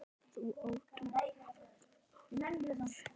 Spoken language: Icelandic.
Það þarf að rækta.